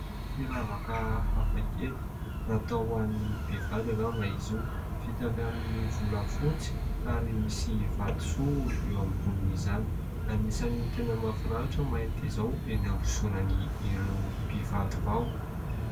Firavaka hafakely, natao ho an'ny mpivady angamba izy io. Vita avy amin'ny volafotsy ary misy vatosoa eo ambonin'izany. Anisan'ny tena mahafinaritra ny mahita izao eny ambozonan'ireo mpivady vao.